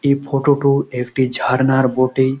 এই ফটো টো একটি ঝার্ণার বটেই |